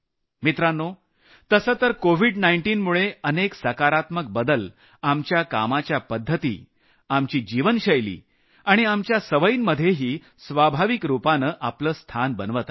मित्रांनो तसंतर कोविड 19 मुळे अनेक सकारात्मक बदल कामाच्या पद्धती जीवनशैली आणि सवयींमध्येही स्वाभाविक रूपानं आपलं स्थान बनवत आहेत